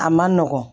A man nɔgɔn